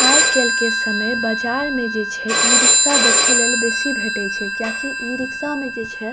आय-काईल के समय बाजार में जे छे इ-रिक्शा दिखएल बेसी भेटे छे क्या की ई इ-रिक्शा में जे छे --